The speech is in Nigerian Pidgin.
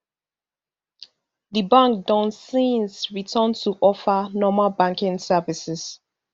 di bank don since return to offer normal banking services